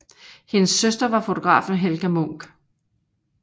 Hendes søster var fotografen Helga Munch